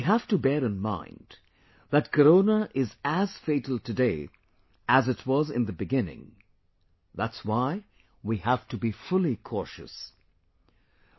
We have to bear in mind that Corona is as fatal today as it was in the beginning that's why we have to be fully cautions